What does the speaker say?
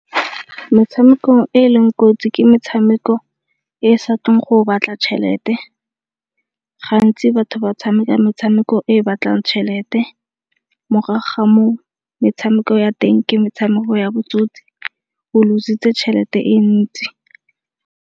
Metshameko e e leng kotsi ke metshameko e sa tleng go batla tšhelete. Gantsi batho ba tshameka metshameko e batlang tšhelete morago ga foo metshameko ya teng ke metshameko ya botsotsi o loss-itse tšhelete e ntsi.